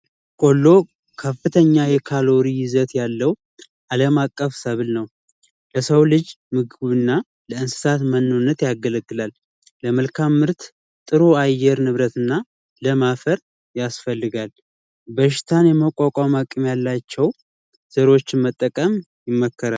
ቆሎ ከፍተኛ የካሎሪ ይዘት ያለው ዓለም አቀፍ ሰብል ነው። ለሰው ልጅ ምግብና ለእንስሳት መኖነት ያገለግላል። ለመልካም ምርት ጥሩ አየር ንብረት እና ለም አፈር ያስፈልጋል። በሽታን የመቋቋም አቅም ያላቸው ዘሮችን መጠቀም ይመከራል።